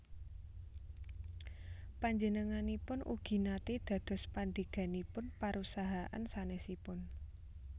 Panjenenganipun ugi naté dados pandheganipun parusahaan sanèsipun